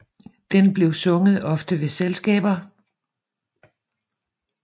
Den blev ofte sunget ved selskaber